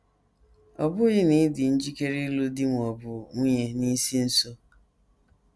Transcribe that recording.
Ọ bụghị na ị dị njikere ịlụ di ma ọ bụ nwunye n’isi nso.